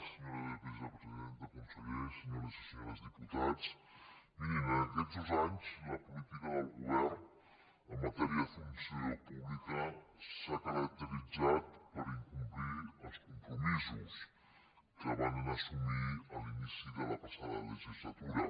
senyora vicepresidenta consellers senyores i senyors diputats mirin en aquests dos anys la política del govern en matèria de funció pública s’ha caracteritzat per incomplir els compromisos que varen assumir a l’inici de la passada legislatura